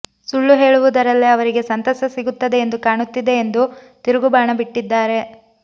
ಸುಳ್ಳು ಹೇಳುವುದರಲ್ಲೇ ಅವರಿಗೆ ಸಂತಸ ಸಿಗುತ್ತದೆ ಎಂದು ಕಾಣುತ್ತಿದೆ ಎಂದು ತಿರುಗುಬಾಣ ಬಿಟ್ಟಿದ್ದಾರೆ